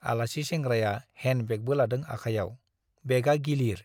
आलासि सेंग्राया हेण्ड बेगबो लादों आखायाव, बेगआ गिलिर ।